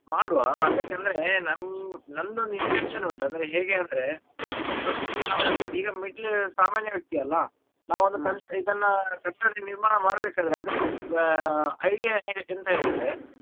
ಮಾಡುವ ಅದ್ಕೆ ಅಂದ್ರೆ ನಂ~ ನಂದು ಒಂದು intention ಉಂಟು ಹೇಗೆ ಅಂದ್ರೆ ಈಗ first ಗೆ ಇವಾಗ middle ಸಾಮಾನ್ಯ ವ್ಯಕ್ತಿಯಲ್ಲ ನಾವೊಂದು con~ ಇದನ ಕಟ್ಟಡ ನಿರ್ಮಾಣ ಮಾಡ್ಬೇಕಾದ್ರೆ idea ಎಂತ ಹೇಳಿದ್ರೆ.